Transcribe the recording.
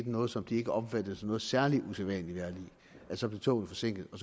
noget som de ikke opfattede som noget særlig usædvanligt vejrlig men så blev toget forsinket og